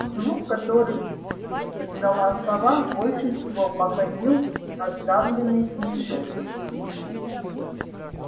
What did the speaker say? звук который издала сова больше всего походил на сдавленный смешок